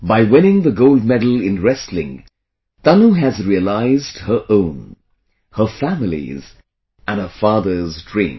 By winning the gold medal in wrestling, Tanu has realized her own, her family's and her father's dream